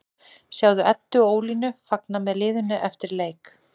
Sjáðu Eddu og Ólínu fagna með liðinu eftir leik